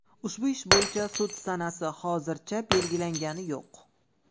Ushbu ish bo‘yicha sud sanasi hozircha belgilangani yo‘q.